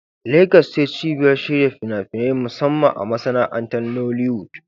Legas ce cibiyar shirya fina-finai, musamman a masana'antar Nollywood.